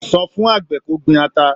Sọ fún àgbẹ̀ kó gbin ata.